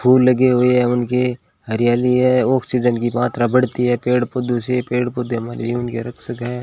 फूल लगे हुए हैं उनके हरियाली है ऑक्सीजन की मात्रा बढ़ती है पेड़ पौधों से पेड़ पौधे हमारे जीवन के रक्षक है।